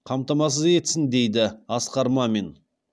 қамтамасыз етсін дейді асқар мамин